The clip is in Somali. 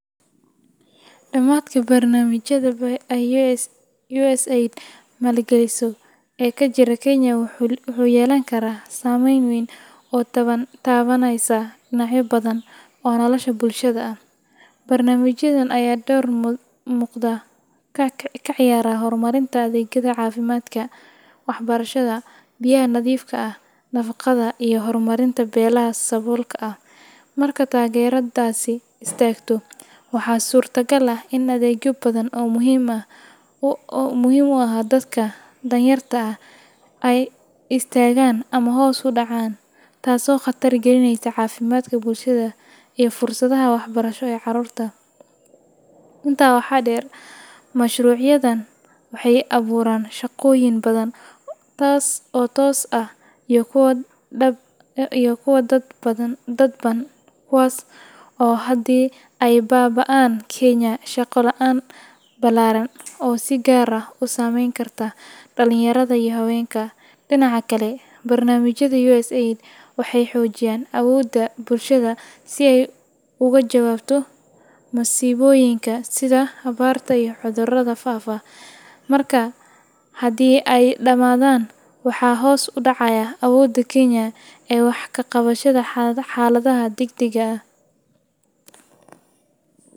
Dhammaadka barnaamijyada ay USAID maalgeliso ee ka jira Kenya wuxuu yeelan karaa saameyn weyn oo taban oo taabanaysa dhinacyo badan oo nolosha bulshada ah. Barnaamijyadan ayaa door muuqda ka ciyaara horumarinta adeegyada caafimaadka, waxbarashada, biyaha nadiifka ah, nafaqada, iyo horumarinta beelaha saboolka ah. Marka taageeradaasi istaagto, waxaa suurtagal ah in adeegyo badan oo muhiim u ahaa dadka danyarta ah ay istaagaan ama hoos u dhacaan, taasoo khatar gelinaysa caafimaadka bulshada iyo fursadaha waxbarasho ee carruurta. Intaa waxaa dheer, mashruucyadan waxay abuuraan shaqooyin badan oo toos ah iyo kuwo dadban, kuwaas oo haddii ay baaba’aan keenaya shaqo la’aan ballaaran oo si gaar ah u saameyn karta dhallinyarada iyo haweenka. Dhinaca kale, barnaamijyada USAID waxay xoojiyaan awoodda bulshada si ay uga jawaabto masiibooyinka sida abaarta iyo cudurrada faafa, markaa haddii ay dhammaadaan, waxaa hoos u dhacaya awoodda Kenya ee wax ka qabashada xaaladaha degdegga ah.